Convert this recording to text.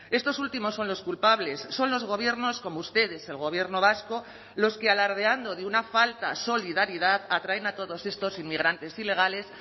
estos últimos son los culpables son los gobiernos como ustedes el gobierno vasco los que alardeando de una falta solidaridad atraen a todos estos inmigrantes ilegales